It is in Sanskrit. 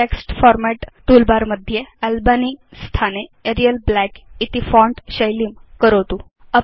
टेक्स्ट् फॉर्मेट् तूल बर मध्ये अल्बनी स्थाने एरियल ब्लैक इति फोंट शैलीं करोतु